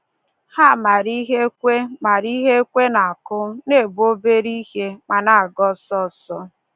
Ha maara ihe ekwe maara ihe ekwe na-akụ, na-ebu obere ihe, ma na-aga ọsọ ọsọ.